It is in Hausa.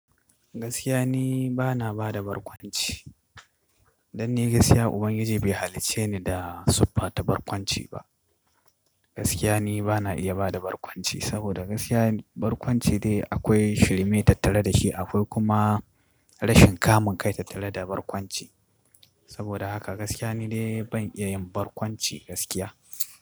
Gaskiya ni bana bada barkwanci. Dan ni gaskiya Ubangiji bai halicce ni da siffata barkwanci ba. Gaskiya ni bana iya bada barkwanci saboda gaskiya barkwanci dai akwai shirme tattare da shi. Akwai kuma rashin kamun kai tattare da barkwanci. Saboda haka gaskiya ni dai ban iya yin barkwanci gaskiya.